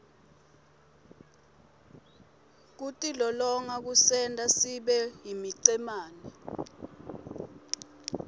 kutilolonga kusenta sibeyimicemene